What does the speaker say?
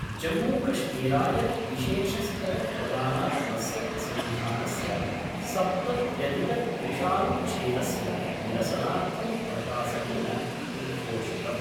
जम्मूकश्मीराय विशेषस्तर प्रदानात्मस्य संविधानस्य सप्तत्यधिकत्रिशानुच्छेदस्य निरसनार्थं प्रशासनेन उद्घोषितम्।